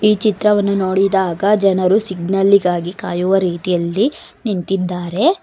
ಈ ಚಿತ್ರವನ್ನು ನೋಡಿದಾಗ ಜನರು ಸಿಗ್ನೇಲ್ಲಿಗಾಗಿ ಕಾಯುವ ರೀತಿಯಲ್ಲಿ ನಿಂತಿದ್ದಾರೆ.